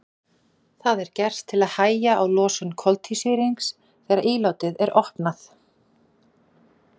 Það er gert til að hægja á losun koltvísýrings þegar ílátið er opnað.